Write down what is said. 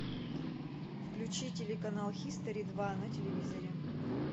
включи телеканал хистори два на телевизоре